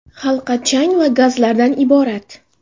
Halqa chang va gazlardan iborat.